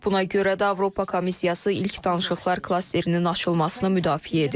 Məhz buna görə də Avropa Komissiyası ilk danışıqlar klasterinin açılmasını müdafiə edir.